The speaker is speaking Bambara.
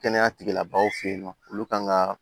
Kɛnɛya tigilabaaw fe yen nɔ olu kan ka